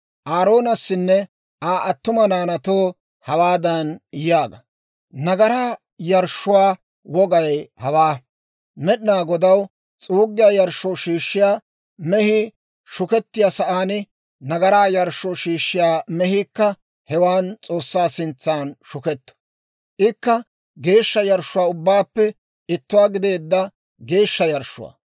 «Aaroonassanne Aa attuma naanaatoo, hawaadan yaaga; ‹Nagaraa yarshshuwaa wogay hawaa: Med'inaa Godaw s'uuggiyaa yarshshoo shiishshiyaa mehii shukettiyaa sa'aan nagaraa yarshshoo shiishshiyaa mehiikka hewaan S'oossaa sintsan shuketto; ikka geeshsha yarshshuwaa ubbaappe ittuwaa gideedda geeshsha yarshshuwaa.